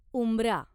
उंबरा